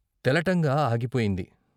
తెలటంగా ఆగిపోయింది.